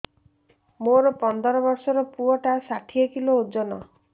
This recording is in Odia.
ମୋର ପନ୍ଦର ଵର୍ଷର ପୁଅ ଟା ଷାଠିଏ କିଲୋ ଅଜନ